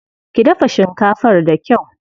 Ki dafa shinkafar da kyau.